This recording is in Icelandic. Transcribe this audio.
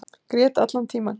Grét allan tímann.